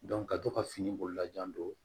ka to ka fini bololajan don